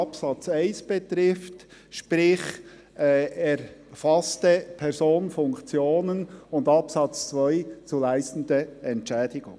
Das betrifft den Absatz 1, sprich, erfasste Personen und Funktionen, und den Absatz 2 zu den zu leistenden Entschädigungen.